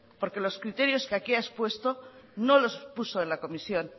porque los criterios que aquí ha expuesto no los puso en la comisión